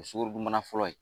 Sukorodun bana fɔlɔ ye